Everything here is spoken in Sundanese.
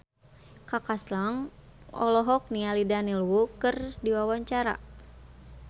Kaka Slank olohok ningali Daniel Wu keur diwawancara